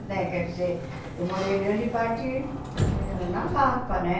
Né? Quer dizer, eu morei grande parte na Lapa, né?